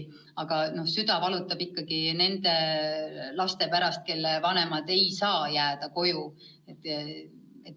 Aga mu süda valutab nende laste pärast, kelle vanemad ei saa koju jääda.